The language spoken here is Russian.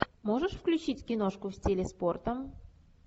можешь включить киношку в стиле спорта